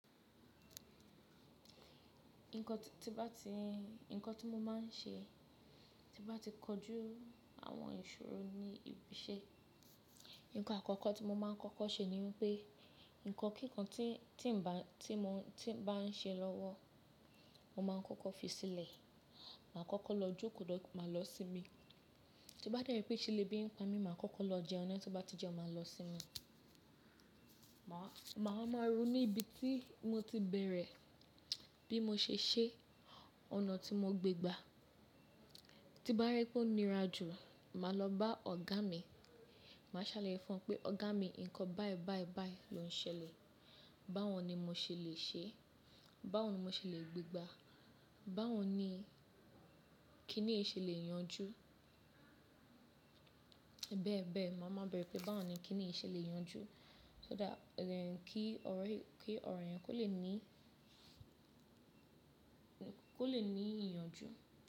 Nǹkan t tí bá ti, nǹkan tí mo máa ń ṣe tí bá ti kojú àwọn ìṣòro ní ibi iṣẹ́, ǹkan àkọ́kọ́ tí mo máa ń kọ́kọ́ ṣe ni pé, ǹkan kíkan tí, tí ń bá, tí mo, tí ń bá ń ṣe lọ́wọ́, mo máa ń kọ́kọ́ fi sílẹ̀. Màá kọ́kọ́ lọ jókòó dó, máa lọ sinmi. Ti bá dẹ́ pé ṣe lè bí ń pa mí, màá kọ́kọ́ lọ jẹun na, tí ó bá ti jẹun, màá lọ sinmi. Màá, màá ru ní ibi tí mo ti bẹ̀rẹ̀, bí mo ṣe ṣẹ́ ọ̀nà tí mo gbé gbá. Ti bá rẹ́ pé ó nira jù, màá lọ bá ọ̀gá mi, màá ṣàlàyé fún won pe ọ̀gá mi ǹkan báyi báyi báyi ló ń ṣẹlẹ̀, báwo ni mo ṣe lè ṣe, báwo ni mo ṣe lè gbé gbá, báwo ni kí nìyí ṣe lè yanjú. Bẹ́ẹ̀ bẹ́ẹ̀, màá máa bẹ̀rẹ̀ pé báwo ni kí nìyí ṣe lè yanjú so that kí ọ̀rọ̀ yi, kí ọ̀rọ̀ yẹn kó lè ní, kó lè ní ìyànjú.